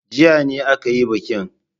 Jiya ne aka yi bikin.